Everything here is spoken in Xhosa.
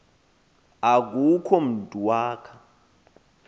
akukho mntu wakha